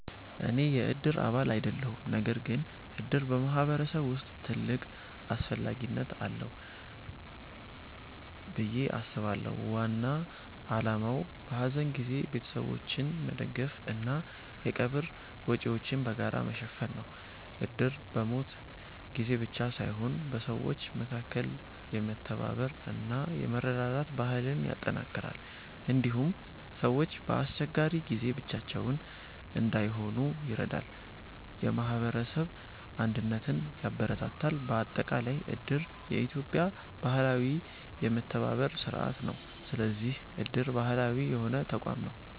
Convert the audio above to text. እኔ የእድር አባል አይደለሁም። ነገር ግን እድር በማህበረሰብ ውስጥ ትልቅ አስፈላጊነት አለው ብዬ አስባለሁ። ዋና ዓላማው በሐዘን ጊዜ ቤተሰቦችን መደገፍ እና የቀብር ወጪዎችን በጋራ መሸፈን ነው። እድር በሞት ጊዜ ብቻ ሳይሆን በሰዎች መካከል የመተባበር እና የመረዳዳት ባህልን ያጠናክራል። እንዲሁም ሰዎች በአስቸጋሪ ጊዜ ብቻቸውን እንዳይሆኑ ይረዳል፣ የማህበረሰብ አንድነትን ያበረታታል። በአጠቃላይ እድር የኢትዮጵያ ባህላዊ የመተባበር ስርዓት ነው። ስለዚህ እድር ባህላዊ የሆነ ተቋም ነው።